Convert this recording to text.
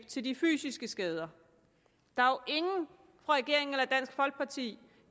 til de fysiske skader der er jo ingen fra regeringen eller dansk folkeparti